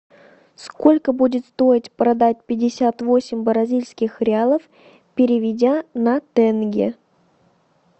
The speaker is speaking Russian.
сколько будет стоить продать пятьдесят восемь бразильских реалов переведя на тенге